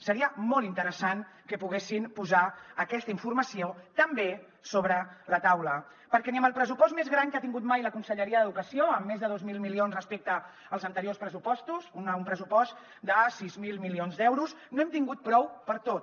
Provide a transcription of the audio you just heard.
seria molt interessant que poguessin posar aquesta informació també sobre la taula perquè ni amb el pressupost més gran que ha tingut mai la conselleria d’educació amb més de dos mil milions respecte als anteriors pressupostos un pressupost de sis mil milions d’euros no n’hem tingut prou per a tot